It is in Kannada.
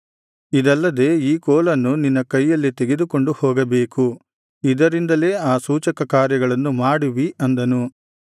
ಇದಲ್ಲದೆ ಈ ಕೋಲನ್ನು ನಿನ್ನ ಕೈಯಲ್ಲಿ ತೆಗೆದುಕೊಂಡು ಹೋಗಬೇಕು ಇದರಿಂದಲೇ ಆ ಸೂಚಕಕಾರ್ಯಗಳನ್ನು ಮಾಡುವಿ ಅಂದನು